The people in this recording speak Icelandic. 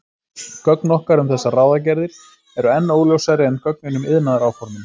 Gögn okkar um þessar ráðagerðir eru enn óljósari en gögnin um iðnaðaráformin.